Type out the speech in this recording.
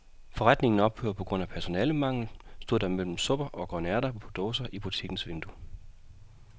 Forretningen ophører på grund af personalemangel, stod der mellem supper og grønærter på dåse i butikkens vindue.